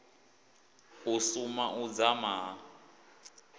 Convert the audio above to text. u suma u dzama ha